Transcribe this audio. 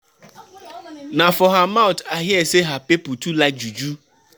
Na for her mouth I hear sey her pipu too like juju.